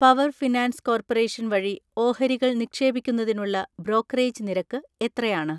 Power finance corporation വഴി ഓഹരികൾ നിക്ഷേപിക്കുന്നതിനുള്ള ബ്രോക്കറേജ് നിരക്ക് എത്രയാണ്?